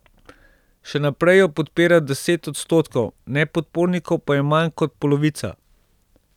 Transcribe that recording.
Še naprej jo podpira deset odstotkov, nepodpornikov pa je manj kot polovica.